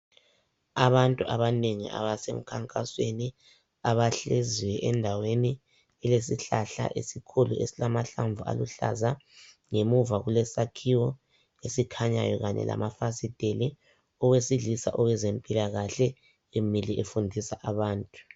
Abantu abanengi abasemkhankasweni ,abahleziyo endaweni elesihlahla esikhulu . Esilamahlamvu aluhlaza , ngemuva kulesakhiwo esikhanyayo kanye lamafasitheli. Owesilisa owezempilakahle emile efundisa abantu .